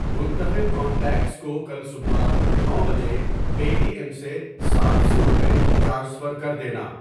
منتخب کانٹیکٹس کو کل صبح نو بجے پے ٹی ایم سے سات سو روپے ٹرانسفر کر دینا۔